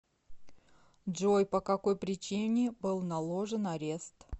джой по какой причине был наложен арест